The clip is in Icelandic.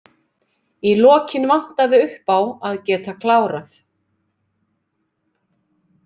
Í lokin vantaði uppá að geta klárað.